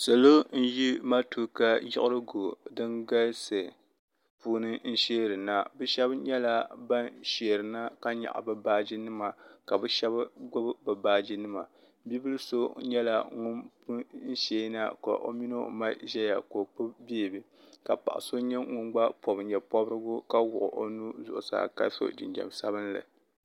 salo n yi matuka yirigu din galisi puuni n shɛrina bɛ shɛba nyɛla ban shɛrina ka nyɛgi bɛ baaji nima ka bɛ shɛbi gbabi be baaji nima bibil so nyɛla ŋɔ pun shɛna ka o mini o ma ʒɛya ka o gbabi bɛɛbi ka paɣ' so nyɛ ŋɔ gba pobi nyɛporigu ka wuɣi o nuu zuɣ' saaka so jijam sabinli